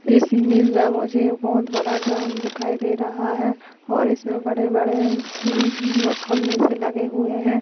इस इमेज में मुझे बहुत बड़ा ग्राउंड दिखाई दे रहा है और बड़े बड़े हम्म खम्बे से लगे हुए है।